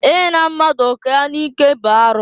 I na mmadụ oke ya n'ike bụ arụ.